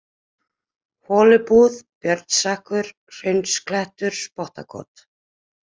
Holubúð, Björnsstekkur, Hraunsklettur, Spottakot